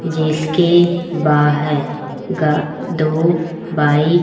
जिसके बाहे गा दो बाइक --